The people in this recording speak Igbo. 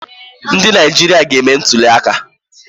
Ndị Naijiria ga-eme ntụliaka